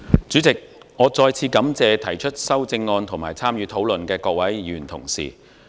主席，我再次感謝提出修正案及參與討論的各位議員同事。